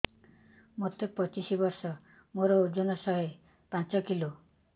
ମୋତେ ପଚିଶି ବର୍ଷ ମୋର ଓଜନ ଶହେ ପାଞ୍ଚ କିଲୋ